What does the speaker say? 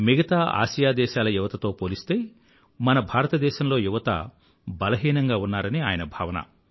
మిగతా ఆసియా దేశాల యువతతో పోలిస్తే మన భారతదేశంలో యువత బలహీనంగా ఉన్నారని ఆయన భావన